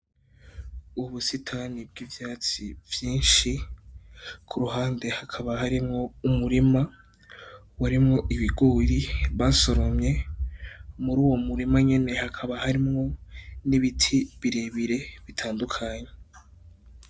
Ubusitani bw'ivyatsi vyinshi, ku ruhande hakaba harimwo umurima urimwo ibigori basoromye, muri uwo murima nyene hakaba harimwo n'ibiti birebire bitandukanye.